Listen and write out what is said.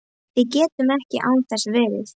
Við gætum ekki án þess verið